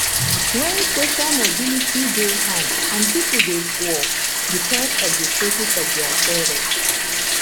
when social mobility dey hard and pipo dey poor because of di status of their parent